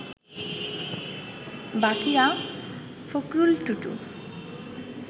বাকিরা, ফকরুল, টুটু